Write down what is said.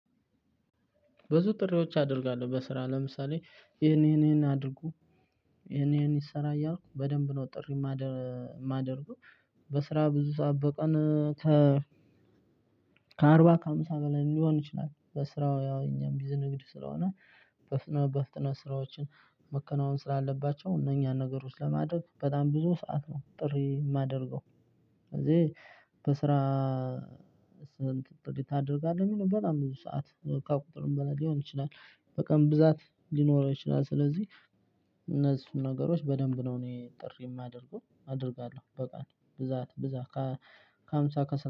ብዙ ጥሪዎች አድርጌያለሁ በስራ አሁን ለምሳሌ ይሄን ይሄን አድርጉ ይሄን ይሄን ይሰራ እያልኩ በደንብ ጥርኢ ማደርገው በስራ በምንወጣበት ቀን። ከአምሳ በላይ ሊሆን ይችላል በስራው ያው እኛም ብዙ ንግድ ስለሆነ በፍጥነት በፍጥነት ስራዎችን መከናወን ስላለባቸው እነኛን ነገሮች ለማድረግ በጣም ብዙ ሰዓት ነው ጥሪ የማደርገው። ስለዚህ በስራ። ስንት ጥቂት አደርጋለሁ በጣም ብዙ ሰዓት ከቁጥር በላይ ሊሆን ይችላል በቀን ብዛት ሊኖረው ይችላል ስለዚህ። እነዚህ ነገሮች በደንብ ነው እኔ ጥሪ የማደርገው አደርጋለሁ በቃ ብዛት ብዛት ከሃምሳ ከሰማንያ